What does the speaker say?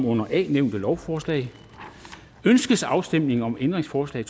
under a nævnte lovforslag ønskes afstemning om ændringsforslag